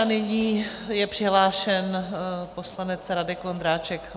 A nyní je přihlášen poslanec Radek Vondráček.